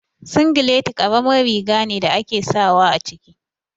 Singileti karamin riga ne da ake sawa a ciki